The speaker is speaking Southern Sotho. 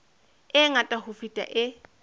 e ngata ho feta e